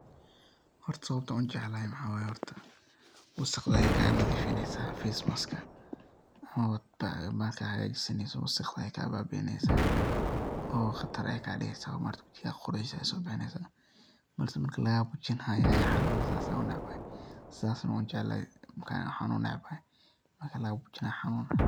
Horta sababta an ujeclay maxa waya horta wasaqday ay ka nadhiifineysa fes maska oo mar kas hagagsaneysa wasaqda ay kaa baabiineysa oo qatar ay kaadigeysa oo maa aragti wijigadha quraxdiisa ay so bixineysa balsa marki lagafujinaya aya xanun eh saas an unecbahaay saas an ujeclahaay ana unecbahay marka laga fujinaya xanuun.